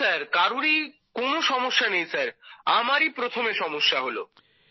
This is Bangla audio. না স্যার কারোরই কোনো সমস্যা নেই স্যার আমারই প্রথমে সমস্যা হলো